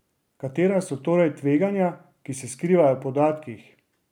Katera so torej tveganja, ki se skrivajo v podatkih?